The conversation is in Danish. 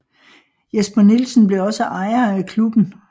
Jesper Nielsen blev også ejer af klubben